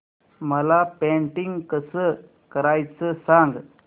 मला पेंटिंग कसं करायचं सांग